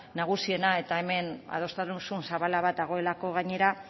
nagusiena eta hemen adostasun zabal bat dagoelako gainera